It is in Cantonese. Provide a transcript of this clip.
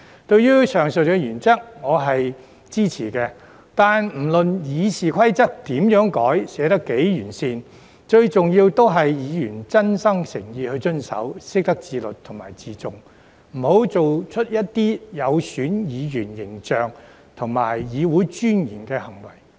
對於上述原則，我是支持的，但不論《議事規則》如何改、寫得多麼完善，最重要的是議員真心誠意地遵守，懂得自律和自重，不要作出有損議員形象和議會尊嚴的行為。